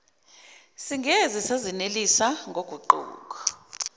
singeze sazenelisa ngoguquko